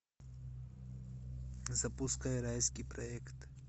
запускай райский проект